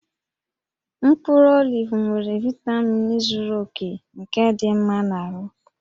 Mkpụrụ olivu nwere vaitamin zuru oke nke dị mma na ahụ